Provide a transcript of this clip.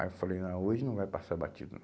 Aí eu falei, não, hoje não vai passar batido.